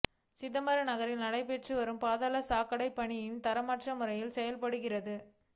சிதம்பரம் நகரத்தில் நடைபெற்று வரும் பாதாள சாக்கடைப்பணிகள் தரமற்ற முறையில் செயல்படுகிறது